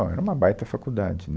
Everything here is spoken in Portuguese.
Era uma baita faculdade, né